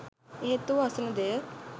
එහෙත් ඔහු අසන දෙය